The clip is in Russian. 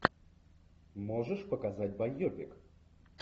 можешь показать байопик